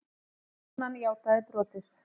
Konan játaði brotið